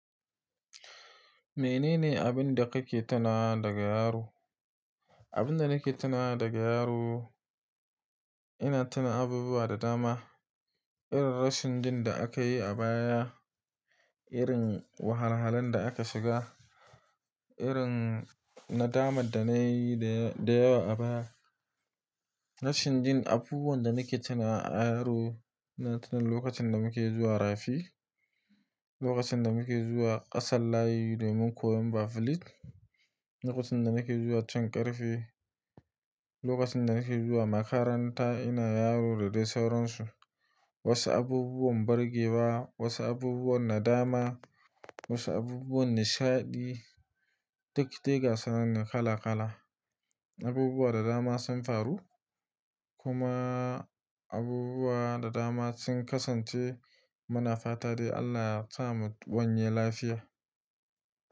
Mene ne abin da kake tunawa daga yaro? Abin da nake tunawa daga yaro, ina tuna abubuwa da dama. Irin rashin jin da aka yi a baya, irin wahalhalan da aka shiga, irin nadamar da na yi da yawa a baya. Rashin jin abubuwan da nake tunawa a yaro, na tuna lokacin da muke zuwa rafi, lokacin da muke zuwa ƙasar layi domin koyan Bafilit, lokacin da nake zuwa cin ƙarfe, lokacin da nake zuwa makaranta ina yaro da dai sauransu. Wasu abubuwan burgewa, wasu abubuwan nadama, wasu abubuwan nishaɗi, duk diga sananne kala-kala. Abubuwa da dama sun faru, kuma abubuwa da dama sun kasance muna fata dai. Allah ya sa mu wanye lafiya.